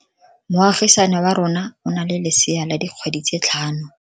Moagisane wa rona o na le lesea la dikgwedi tse tlhano.